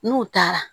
N'u taara